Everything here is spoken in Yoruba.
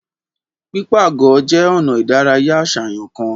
Pipaagọ je ona ìdárayá aṣayan kan.